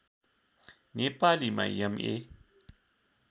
नेपालीमा एम ए